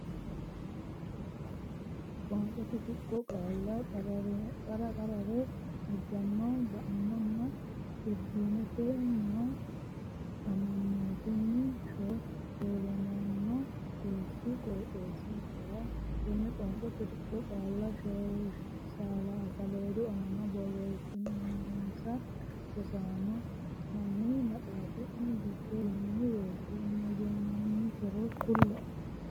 Qoonqote Tuqqo Qaalla qarqara ajanno ba”annonna turizimete nyoo amanyootunni shoo hoshooshamanno xees qooxeessinkera Tenne qoonqote tuqqonni qaalla saleedu aana borreessinsa Rosaano, hanni maxaafi’ne giddo yinanni woyite mayyaatero kulle’e?